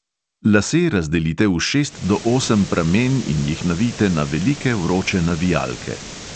Lase razdelite v šest do osem pramen in jih navijte na velike vroče navijalke.